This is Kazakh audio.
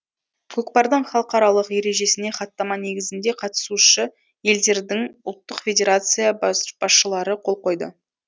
көкпардың халықаралық ережесіне хаттама негізінде қатысушы елдердің ұлттық федерация басшылары қол қойды